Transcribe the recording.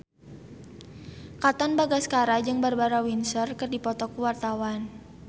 Katon Bagaskara jeung Barbara Windsor keur dipoto ku wartawan